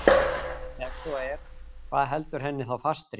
Ef svo er, hvað heldur henni þá fastri?